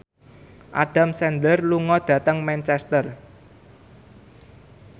Adam Sandler lunga dhateng Manchester